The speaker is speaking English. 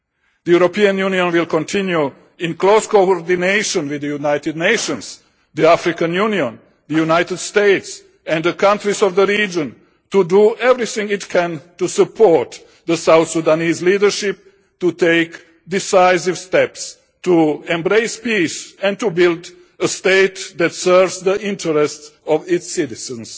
The European Union will continue, in close coordination with the United Nations, the African Union, the United States and the countries of the region, to do everything it can to support the South Sudanese leadership to take decisive steps to embrace peace and to build a state that serves the interests of its citizens.